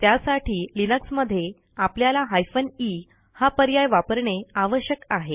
त्यासाठी लिनक्स मध्ये आपल्याला हायफेन ई हा पर्याय वापरणे आवश्यक आहे